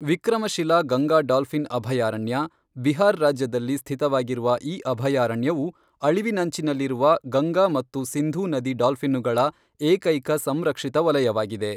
Vikramshila Ganga dolphin ಅಭಯಾರಣ್ಯ, ಬಿಹಾರ್ ರಾಜ್ಯದಲ್ಲಿ ಸ್ಥಿತವಾಗಿರುವ ಈ ಅಭಯಾರಣ್ಯವು ಅಳಿವಿನಂಚಿನಲ್ಲಿರುವ ಗಂಗಾ ಮತ್ತು ಸಿಂಧೂ ನದಿ ಡಾಲ್ಫಿನ್ನುಗಳ ಏಕೈಕ ಸಂರಕ್ಷಿತ ವಲಯವಾಗಿದೆ.